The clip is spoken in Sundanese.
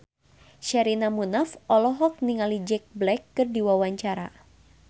Sherina Munaf olohok ningali Jack Black keur diwawancara